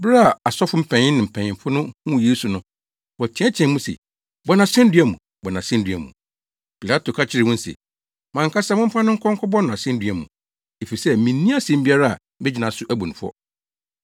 Bere a asɔfo mpanyin ne mpanyimfo no huu Yesu no, wɔteɛteɛɛ mu se, “Bɔ no asennua mu! Bɔ no asennua mu!” Pilato ka kyerɛ wɔn se, “Mo ankasa momfa no nkɔ nkɔbɔ no asennua mu, efisɛ minni asɛm biara a megyina so abu no fɔ.”